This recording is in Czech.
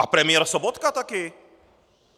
A premiér Sobotka taky!